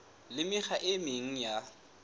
le mekgwa e meng ya